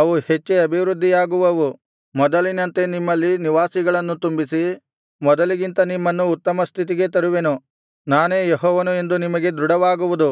ಅವು ಹೆಚ್ಚಿ ಅಭಿವೃದ್ಧಿಯಾಗುವವು ಮೊದಲಿನಂತೆ ನಿಮ್ಮಲ್ಲಿ ನಿವಾಸಿಗಳನ್ನು ತುಂಬಿಸಿ ಮೊದಲಿಗಿಂತ ನಿಮ್ಮನ್ನು ಉತ್ತಮ ಸ್ಥಿತಿಗೆ ತರುವೆನು ನಾನೇ ಯೆಹೋವನು ಎಂದು ನಿಮಗೆ ದೃಢವಾಗುವುದು